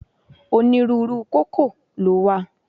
Onírúurú u kókò lówà